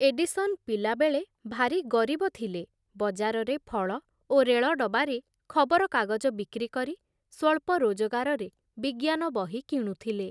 Edison ପିଲାବେଳେ ଭାରି ଗରିବ ଥିଲେ, ବଜାରରେ ଫଳ ଓ ରେଳଡବାରେ ଖବରକାଗଜ ବିକ୍ରି କରି ସ୍ୱଳ୍ପ ରୋଜଗାରରେ ବିଜ୍ଞାନ ବହି କିଣୁଥିଲେ ।